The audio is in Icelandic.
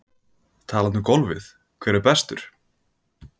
Talandi um golfið hver er bestur?